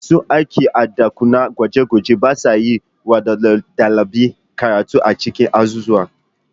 Masu aikin ɗakunan gwaje-gwaje ba sa yi wa ɗalibai karatu a cikin azuzuwa